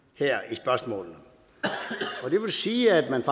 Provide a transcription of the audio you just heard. spørgsmålene det vil sige at man